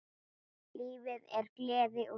Lífið er gleði og sorg.